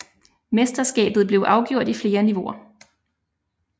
Mesterskabet blev afgjort i flere niveauer